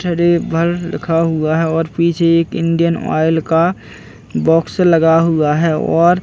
Trevor लिखा हुआ है और पीछे एक इंडियन ऑयल का बॉक्स लगा हुआ है और--